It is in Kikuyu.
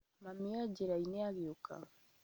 Mami e njĩra-inĩ agĩũka